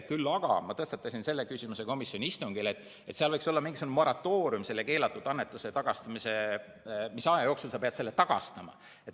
Küll aga tõstatasin ma komisjoni istungil selle küsimuse, et võiks olla mingisugune moratoorium keelatud annetuse puhul, mis aja jooksul sa pead selle tagastama.